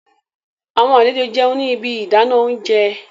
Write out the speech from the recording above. Awọn alejo n jẹun ni ibi idana ounjẹ